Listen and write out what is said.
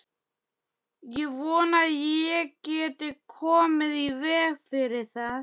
Ég vona ég geti komið í veg fyrir það.